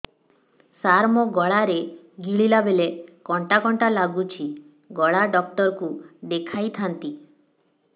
ସାର ମୋ ଗଳା ରେ ଗିଳିଲା ବେଲେ କଣ୍ଟା କଣ୍ଟା ଲାଗୁଛି ଗଳା ଡକ୍ଟର କୁ ଦେଖାଇ ଥାନ୍ତି